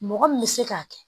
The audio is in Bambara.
Mɔgɔ min bɛ se k'a kɛ